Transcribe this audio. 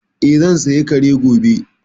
Eh, zan saya Kare gobe